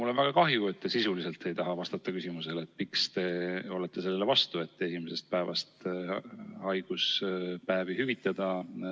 Mul on väga kahju, et te ei taha sisuliselt vastata küsimusele, miks te olete selle vastu, et esimesest päevast haiguspäevi hüvitada.